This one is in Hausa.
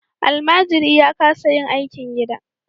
Almajiri ya kasa yin aikin gida.